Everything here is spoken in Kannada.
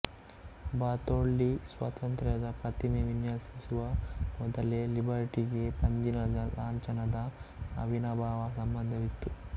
ಬಾರ್ತೊಲ್ಡಿ ಸ್ವಾತಂತ್ರ್ಯದ ಪ್ರತಿಮೆ ವಿನ್ಯಾಸಿಸುವ ಮೊದಲೇ ಲಿಬರ್ಟಿಗೆ ಪಂಜಿನ ಲಾಂಛನದ ಅವಿನಾಭಾವ ಸಂಬಂಧವಿತ್ತು